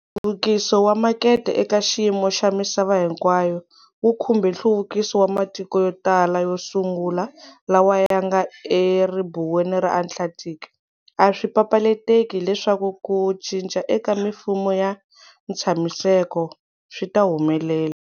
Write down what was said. Nhluvukiso wa makete eka xiyimo xa misava hinkwayo wu khumbe nhluvukiso wa matiko yotala, yosungula lawa yanga eribuweni ra Atlantic, aswi papalateki leswaku ku cinca eka mimfumo ya ntshamiseko swita humelela.